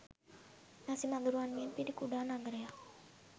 මැසි මදුරුවන්ගෙන් පිරි කුඩා නගරයක්